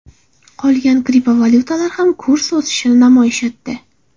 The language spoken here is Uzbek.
Qolgan kriptovalyutalar ham kurs o‘sishini namoyish etdi.